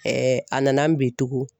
a nana n bin tugu.